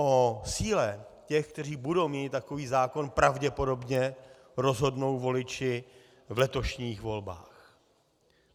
O síle těch, kteří budou měnit takový zákon, pravděpodobně rozhodnou voliči v letošních volbách.